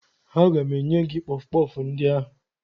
Aga m enye gị kpọfụ kpọfụ ndị ahụ